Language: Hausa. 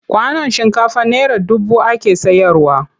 Kwanon shinkafa naira dubu ake sayarwa.